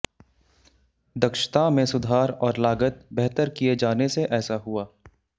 दक्षता में सुधार और लागत बेहतर किए जाने से ऐसा हुआ